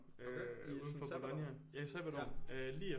Uden for Bologna ja i sabbatår lige efter